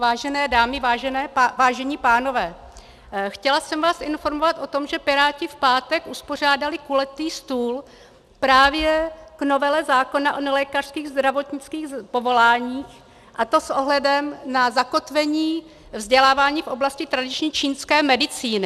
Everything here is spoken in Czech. Vážené dámy, vážení pánové, chtěla jsem vás informovat o tom, že Piráti v pátek uspořádali kulatý stůl právě k novele zákona o nelékařských zdravotnických povoláních, a to s ohledem na zakotvení vzdělávání v oblasti tradiční čínské medicíny.